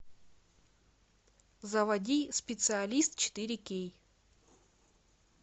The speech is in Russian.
заводи специалист четыре кей